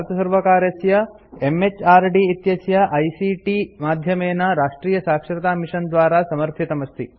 एतत् भारतसर्वकारस्य एमएचआरडी इत्यस्य आईसीटी माध्यमेन राष्ट्रीयसाक्षरतामिशन द्वारा समर्थितमस्ति